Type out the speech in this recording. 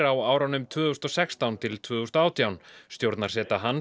á árunum tvö þúsund og sextán til tvö þúsund og átján stjórnarseta hans